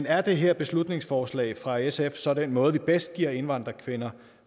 er det her beslutningsforslag fra sf så den måde vi bedst giver indvandrerkvinder